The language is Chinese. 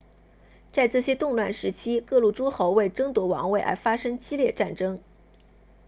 在这些动乱时期各路诸侯为争夺王位而发生激烈战争